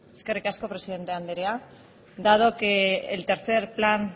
eskerrik asko presidente andrea dado que el tercero plan